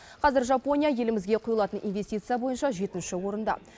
қазір жапония елімізге құйылатын инвестиция бойынша жетінші орында